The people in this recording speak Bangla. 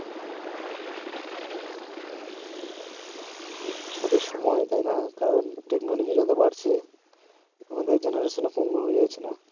সবই সময় তাই না কারণ টেকনোলজি যত বাড়ছে আমাদের জেনারেশন ও পঙ্গু হয়ে যাচ্ছে না